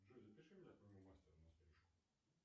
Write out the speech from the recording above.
джой запиши меня к моему мастеру на стрижку